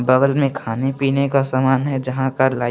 बगल मे खाने पीने का सामान है जहां का --